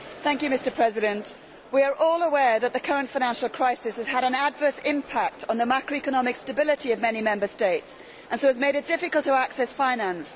Mr President, we are all aware that the current financial crisis has had an adverse impact on the macroeconomic stability of many Member States and has thus made it difficult to access finance.